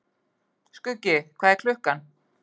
Skuggi, hvað er klukkan?